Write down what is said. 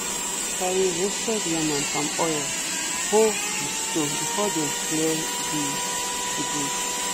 some people dey carry roasted yam and palm oil ho the stone before them clear the the bush.